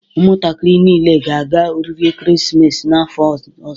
Ụmụntakịrị niile ga-aga oriri ekeresimesi n'afọ ọzọ